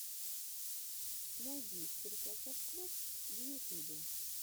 найди черкасовклуб в ютубе